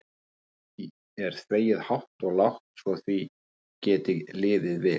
Og því er þvegið hátt og lágt svo því geti liðið vel.